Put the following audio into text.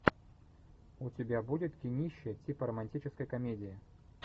у тебя будет кинище типа романтической комедии